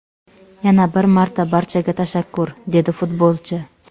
Yana bir marta barchaga tashakkur”, – dedi futbolchi.